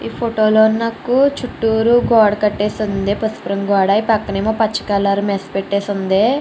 ఈ ఫోటో లో నాకు చుట్టూరు గోడ కట్టేసి ఉంది పసుపు రంగు గోడ ఈ పక్కన ఏమో పసుపు కలర్ మెస్ పెట్టేసి ఉంది.